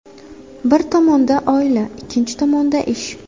Bir tomonda oila, ikkinchi tomonda ish.